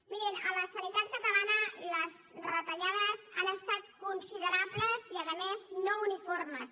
mirin a la sanitat catalana les retallades han estat considerables i a més no uniformes